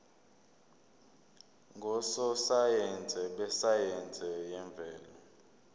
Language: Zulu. ngososayense besayense yemvelo